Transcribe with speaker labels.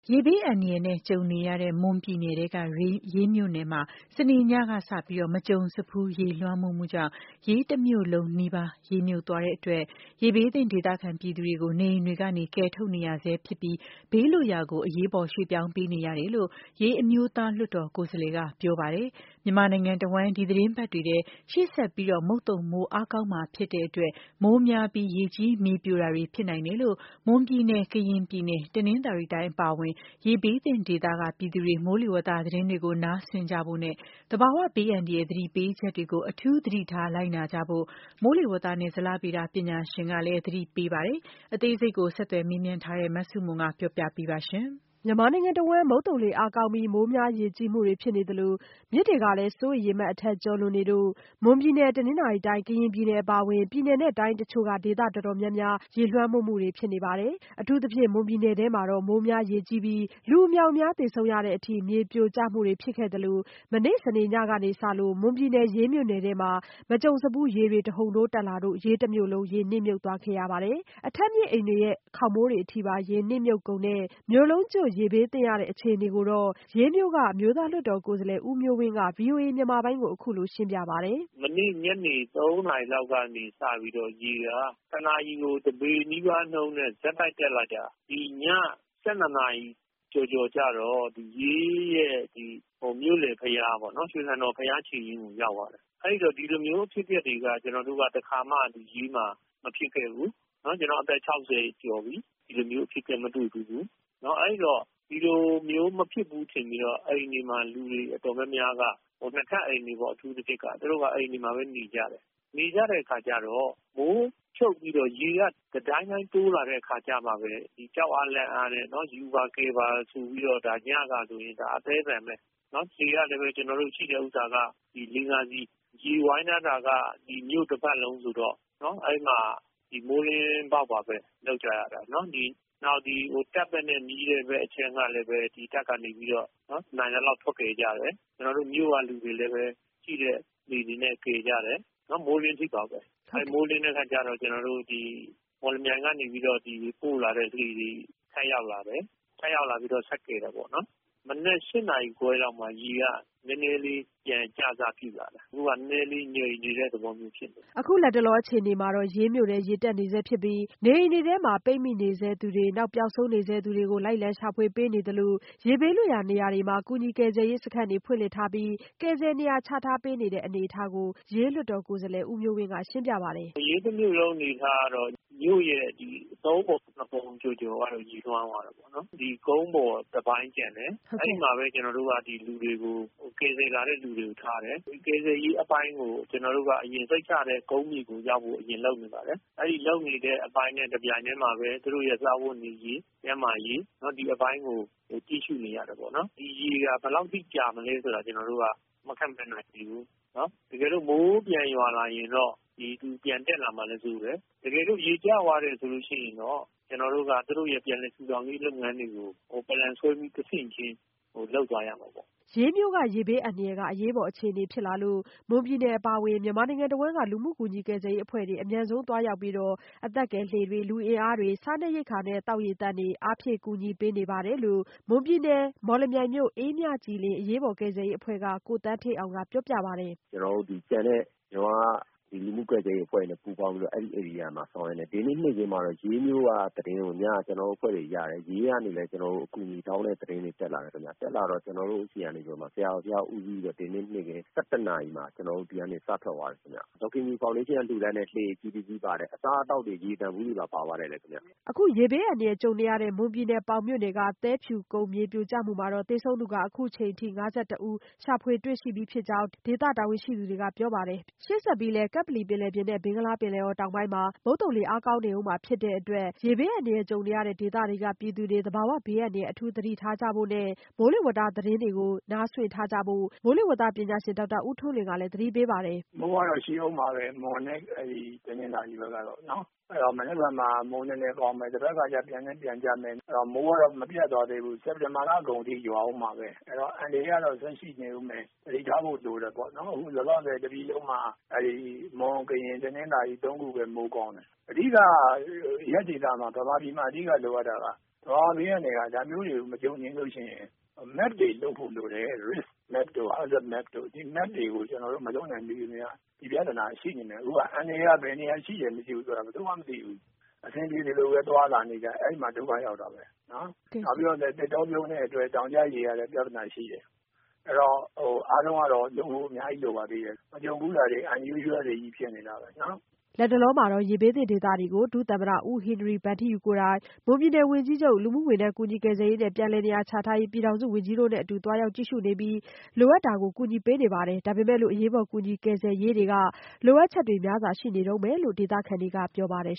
Speaker 1: ရေဘေးအန္တရာယ်နဲ့ ကြုံနေရတဲ့ မွန်ပြည်နယ် ရေးမြို့နယ်မှာ စနေညကစလို့ မကြုံစဖူး ရေလွှမ်းမိုး မှုကြောင့် ရေးတမြို့လုံးနီးပါး ရေနှစ်မြုပ်သွားလို့ ရေဘေးသင့် ဒေသခံပြည်သူတွေကို နေအိမ်တွေကနေ ကယ်ထုတ်နေရဆဲဖြစ်ပြီး ဘေးလွတ်ရာကို အရေးပေါ် ရွှေ့ပြောင်းပေးနေရတယ်လို့ ရေး အမျိုးသားလွှတ်တော်ကိုယ်စားလှယ်က ပြောပါတယ်။ ြမန်မာနိုင်ငံတဝှမ်း ဒီသီတင်းပတ်တွေထဲ ရှေ့ဆက်ပြီး မုတ်သုံမိုးအားကောင်း မှာဖြစ်တဲ့အတွက် မိုးများပြီး ရေကြီးမြေပြိုကျမှုတွေဖြစ်နိုင်လို့ မွန်ပြည်နယ် ၊ ကရင်ပြည်နယ်၊ တနင်္သာရီတိုင်းအပါအဝင် ရေဘေးသင့်ဒေသက ပြည်သူတွေ မိုးလေဝသသတင်းတွေ နားစွင့်နေကြဖို့နဲ့ သဘာဝဘေးအန္တရာယ် သတိပေးချက်တွေကို အထူးသတိထား လိုက်နာကြဖို့ မိုးလေဝသနဲ့ ဇလဗေဒပညာရှင်ကလည်း သတိပေးပါတယ်။ အသေးစိတ် ဆက်သွယ်မေးမြန်းထားတဲ့ မဆုမွန် တင်ပြပေးထားပါတယ်။ မြန်မာနိုင်ငံတဝှမ်း မုတ်သုံလေ အားကောင်းပြီး မိုးများရေကြီးမှုတွေဖြစ်သလို မြစ်တွေလည်း စိုးရိမ်ရေမှတ် အထက်ကျော်လွန်နေလို့ မွန်ပြည်နယ်၊ တနင်္သာရီတိုင်း၊ ကရင်ပြည်နယ် အပါအဝင် ပြည်နယ် တိုင်းအချို့က ဒေသအတော်တော်များများ ရေလွှမ်းမှုတွေဖြစ်နေပါတယ်။ အထူးသဖြင့် မွန်ပြည်နယ်ထဲမှာတော့ မိုးများရေကြီးပြီး လူအမြောက်အမြားသေဆုံးရတဲ့အထိ မြေပြိုကျမှုတွေဖြစ်နေသလို မနေ့စနေ့ညကစလို့ မွန်ပြည်နယ် ရေးမြို့နယ်ထဲမှာ မကြုံစဖူး ရေတွေ တဟုန်ထိုးတက်လာလို့ ရေးတမြို့လုံး ရေနှစ်မြုပ်သွားခဲ့ရပါတယ်။ အထပ်မြင့်အိမ်တွေရဲ့ ခေါင်မိုးအထိပါ ရေနှစ်မြုပ်ကုန်တဲ့ မြို့လုံးကျွတ် ရေဘေးသင့်နေရတဲ့အခြေအနေကိုတော့ ရေးမြို့က အမျိုးသားလွှတ်တော်ကိုယ်စားလှယ် ဦးမျိုးဝင်းက ဗွီအိုအေမြန်မာပိုင်းကို အခုလိုရှင်းပြပါတယ်။
Speaker 2: “မနေ့ညနေ ၃ နာရီလောက်ကနေ စပြီးတော့ ရေက ၁ နာရီကို ၁ ပေနီးပါးနှုန်းနဲ့ ဆက်တိုက် တက်လာ ဒီည ၁၂ နာရီ ကျော်ကျော်ကျတော့ ရေးနဲ့ မြို့လယ်ဘုရားပေါ့နော် ရွှေဆံတော် ဘုရားခြေရင်းကိုရောက်သွားတယ်။ အဲဒီတော့ ဒီလိုမျိုး အဖြစ်အပျက်တွေက တခါမှ ရေးမှာ မဖြစ်ခဲ့ဘူး။ ကျနော့်အသက် ၆၀ ကျော်ပြီ ဒီလိုမျိုး အဖြစ်အပျက် မတွေ့ခဲ့ဖူးဘူး။ အဲဒီတော့ ဒီလိုမျိုးမဖြစ်ဘူး ထင်ပြီးတော့ အိမ်တွေမှာ လူတွေတော်တော်များများက ၂ ထပ်အိမ်တွေပေါ့ အထူးသဖြင့် သူတို့က အိမ်တွေမှာပဲ နေကြတယ်။ နေတော့ မိုးချုပ်ပြီးတော့ ရေက တဒိုင်းဒိုင်း တိုးလာတဲ့အချိန်ကျတော့ ကြောက်အားလန့်အားနဲ့ ကူပါ၊ ကယ်ပါ ဆိုပြီးတော့ ညကဆိုရင် အသည်းအသန်ပဲ ။ လှေကလည်း ကျနော်တို့ ရှိတာက ၄-၅ စီး ၊ ရေဝိုင်းထားတာက မြို့တပတ်လုံးဆိုတော့ အဲဒီမှာ မိုးလင်းပေါက်ပါပဲ လုပ်ကြတာ။ နောက်ပြီးတော့ တပ်ဘက်က နီးတဲ့ အခြမ်းကလည်း တပ်ဘက်က နိုင်သလောက် ထုတ်ကယ်ကြတယ်။ ကျနော်တို့ မြို့ကလည်း ရှိတဲ့ လှေတွေနဲ့ ကယ်ကြတယ် မိုးလင်းတဲ့အထိပါပဲ ။ မိုးလင်းတော့ မော်လမြိုင်ကနေပြီးတော့ ပို့လာတဲ့ လှေတွေ ထပ်ရောက်လာတယ်။ ထပ်ရောက်လာပြီးတော့ ဆက်ကယ်တယ်ပေါ့နော်။ မနက် ၈ နာရီခွဲလောက်မှ ရေက နည်းနည်းလေး ပြန်ကျလာတယ် အခုက နည်းနည်းလေး ငြိမ်နေတဲ့ သဘောဖြစ်နေတယ်
Speaker 1: ။” အခုလတ်တလောအခြေအနေမှာတော့ ရေးမြို့ထဲ ရေတက်နေဆဲဖြစ်ပြီး နေအိမ်တွေထဲ ပိတ်မိနေဆဲသူတွေ ပျောက်ဆုံးနေဆဲသူတွေကို လိုက်လံရှာဖွေပေးနေသလို ရေဘေးလွတ်ရာနေရာတွေမှာ ကူညီကယ်ဆယ်ရေးစခန်းတွေဖွင့်လှစ်ထားပြီး ကယ်ဆယ်နေရာချပေးနေတဲ့ အနေအထားကိုလည်း ရေးလွှတ်တော်ကိုယ်စားလှယ် ဦးမျိုးဝင်းက ရှင်းပြပါတယ်
Speaker 2: ။ “ရေးတမြို့လုံးအနေအထားကတော့ မြို့ရဲ့ ၃ ပုံ ၂ ပုံကျော်ကတော့ ရေလွှမ်းသွားတာပေါ့နော်။ ဒီ ကုန်းပေါ်တပိုင်းကျန်တယ် အဲဒီမှာပဲ ကျနော်တို့ ကယ်လာတဲ့ လူတွေကိုထားတယ်။ ကယ်ဆယ်ရေးအပိုင်းကို စိတ်ချတဲ့ ကုန်းမြေကိုရောက်ဖို့ အရင်လုပ်နေပါတယ်။ တပြိုင်တည်းမှာပဲ သူတို့ စားဝတ်နေရေး၊ ကျန်းမာရေး ဒီအပိုင်းကို ကြည့်နေရတယ်ပေါ့နော် ။ ဒီရေက ဘယ်လောက်အထိ ကြာမလဲ ဆိုတာ ကျနော်တို့က မခန့်မှန်းနိုင်သေးဘူး။ တကယ်လို့ မိုးပြန်ရွာလာရင်တော့ ရေပြန်တက်လာမှာလည်း စိုးတယ်။ တကယ်လို့ ရေကျသွားတယ်ဆိုရင် ကျနော်တို့က သူတို့ရဲ့ ပြန်လည်ထူထောင်ရေးလုပ်ငန်းတွေကို Plan ဆွဲပြီး တဆင့်ချင်းလုပ်သွားရမှာပေါ့
Speaker 1: ။” ရေးမြို့ ရေဘေးအန္တရာယ်က အရေးပေါ်အခြေအနေဖြစ်လာလို့ မွန်ပြည်နယ်ကအပါအဝင် မြန်မာပြည်တဝှမ်းက လူမှုကူညီကယ်ဆယ်ရေးအဖွဲ့တွေက အမြန်ဆုံးသွားရောက်ပြီး အသက်ကယ်လှေတွေ လူအင်အားတွေ စားနပ်ရိက္ခာ သောက်ရေသန့်တွေ အားဖြည့် ကူညီပေးနေကြပါတယ်လို့ မွန်ပြည်နယ် မော်လမြိုင်မြို့ အေးမြကြည်လင် အရေးပေါ် ကယ်ဆယ်ရေးအဖွဲ့က ကိုသန်းဌေးအောင်က ပြောပြပါတယ်။
Speaker 2: “ကျနော်တို့ ကျန်တဲ့ လူမှု့ကယ်ဆယ်ရေးအဖွဲ့တွေနဲ့ ပူးပေါင်းပြီး အဲဒီ ဧရိယာမှာ ဆောင်ရွက်နေပါတယ်။ ဒီနေ့ နေ့ခင်းမှာတော့ ရေးမြို့ကသတင်းကို ညက ကျနော်တို့အဖွဲ့တွေရတယ်။ ကျနော်တို့ကို အကူအညီတောင်းတဲ့ သတင်းတွေတက်လာတယ်။ တက်လာပြီးတော့ ကျနော်တို့ဆီက ဆရာတော်တပါးက ဦးစီးပြီးတော့ ဒီနေ့ နေ့ခင်း ၁၁ နာရီမှာ ဒီကနေပြီးတော့ စထွက်သွားတယ်။ ဒေါ်ခင်ကြည် ဖော်ဒေးရှင်းက လှူဒန်းတဲ့ လှေအကြီးတစင်းပါတယ်။ အစားအသောက်တွေ ရေသန့်ဗူးတွေပါ ပါသွားတယ်”
Speaker 1: အခုရေဘေးအန္တရာယ်ကြုံနေရတဲ့ မွန်ပြည်နယ်တွင်း မှာ သဲဖြူကုန်းမြေပြိုကျမှုကြောင့် သေဆုံးသူ အခုချိန်အထိ ၅၁ဦးအထိ ရှာဖွေတွေ့ပြီးဖြစ်တဲ့အကြောင်း ဒေသဆိုင်ရာ တာဝန်ရှိသူတွေကေ ပြာပါတယ်။ ပျောက်ဆုံးနေတဲ့သူတွေ ဆက်လက်ရှာဖွေ နေဆဲဖြစ်ပြီး လူထောင်ချီ အိုးအိမ်များစွန့်ခွာ ခဲ့ကြရပါတယ်။ ကပ္ပလီပင်လယ်ပြင်နဲ့ ဘင်္ဂလားပင်လယ်အော်တောင်ပိုင်းတို့ မုတ်သုံလေ အားကောင်းနေဦးမှာဖြစ်တဲ့အတွက် ရေဘေးအန္တရယ်ကြုံနေရတဲ့ ဒေသတွေကပြည်သူတွေ သဘာဝဘေးအန္တရာယ်အထူးသတိထားကြဖို့နဲ့ မိုးလေဝသသတင်းတွေကို နားစွင့်ထားကြဖို့ မိုးလေဝသပညာရှင် ဒေါက်တာဦးထွန်းလွင်ကလည်း သတိပေးပြောဆိုပါတယ်။
Speaker 3: “မိုးကတော့ ရှိဦးမှာပဲ မွန်နဲ့ တနင်္သာရီဘက်ကတော့ အဲဒီတော့ မနက်ဖြန်မှာ မိုးနည်းနည်းသွားမယ် တဘက်ခါမှာ နည်းနည်း ပြန်ကျမယ် ။ မိုးကတော့ မပျက်သွားသေးဘူး စက်တင်ဘာလ အကုန်အထိ ရွာဦးမှာပဲ အဲဒီတော့ အန္တရယ်ကတော့ ဆက်ရှိဦးမယ် သတိထားဖို့တော့ လိုတယ်ပေါ့ ။ အခုလောလောဆည် တပြည်လုံးမှာ မွန်၊ ကရင် ၊ တနင်္သာရီ တို့ပဲ မိုးကောင်းတယ်။ အဓိက မြန်မာပြည်မှာ လိုအပ်တာက ဒါမျိုးတွေ မကြုံချင်လို့ရှိရင် Map တွေလုပ်ဖို့လိုတယ် risk map တို့ ဒါမျိုးတွေ ကျနေ်ာတို့မှာ ဒါမျိုးတွေ မလုပ်နိုင်သေးသရွေ့ အန္တရာယ်ကတော့ ရှိဦးမှာပဲ။ အန္တရာယ်က ဘယ်နေရာ ရှိတယ် မရှိဘူးဆိုတာ ဘယ်သူမှ မသိဘူး အဆင်ပြေသလိုပဲ သွားလာနေတယ် အဲဒီမှာ ဒုက္ခရောက်တာပဲ။ နောက်ပြီးတော့ သစ်တောပြုန်းတဲ့အတွက် တောင်ကျရေကလည်း ပြဿနာရှိတယ်။ ဆိုတော့ အားလုံးကတော့ လုပ်ဖို့ အများကြီးလိုပါသေးတယ် မကြုံဖူးတာတွေ unusual တွေပဲ ဖြစ်နေတာကြီးနော်။
Speaker 1: ” လတ်တလောမှာတော့ ရေဘေးသင့်ဒေသတွေကို ဒုသမ္မတ ဦးဟင်နရီဗန်ထီးယူ ကိုယ်တိုင် မွန်ပြည်နယ်ဝန်ကြီးချုပ်၊ လူမှုဝန်ထမ်းကယ်ဆယ်ရေးနဲ့ ပြန်လည်နေရာချထားရေးဝန်ကြီးတို့နဲ့အတူသွားရောက်ကြည့်ရှုပြီး လိုအပ်တာတွေကို ကူညီပေးနေပါတယ် ဒါပေမဲ့လို့ အရေးပေါ်ကူညီကယ်ဆယ်ရေးတွေက လိုအပ်ချက်ထဲတွေများစွာရှိနေတုန်းပဲလို့လည်း ဒေသခံတွေကပြောပါတယ်